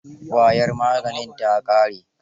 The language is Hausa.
Ƙwayar maganin ta ƙare.